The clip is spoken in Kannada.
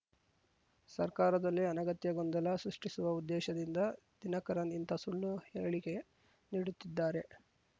ಸರ್ಕಾರದಲ್ಲಿ ಅನಗತ್ಯ ಗೊಂದಲ ಸೃಷ್ಟಿಸುವ ಉದ್ದೇಶದಿಂದ ದಿನಕರನ್‌ ಇಂಥ ಸುಳ್ಳು ಹೇಳಿಕೆ ನೀಡುತ್ತಿದ್ದಾರೆ